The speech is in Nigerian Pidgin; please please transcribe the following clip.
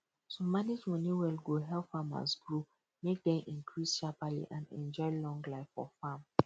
to manage money well go help farmers grow make dem increase shaperly and enjoy long life for farm